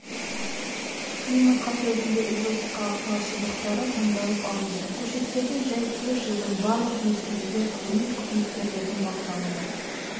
климатқа төзімді экзотикалық тал шыбықтары таңдалып алынды көшеттердің жай-күйі жылдың барлық мезгілінде ғылыми қызметкерлердің бақылауында